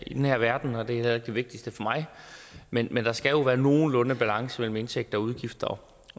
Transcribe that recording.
i den her verden og det er heller ikke det vigtigste for mig men men der skal jo være nogenlunde balance mellem indtægter og udgifter